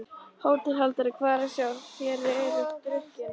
HÓTELHALDARI: Hvað er að sjá: þér eruð drukkin?